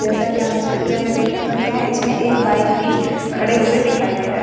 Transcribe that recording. जैसा की हम इस पिक्चर में देख सकते हैं इसमें एक बाइक भी खड़े हुए दिखाई दे रहा है।